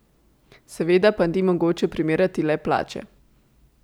Seveda pa ni mogoče primerjati le plače.